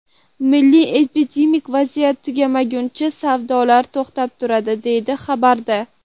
Milliy epidemik vaziyat tugamagunicha savdolar to‘xtab turadi”, deyiladi xabarda.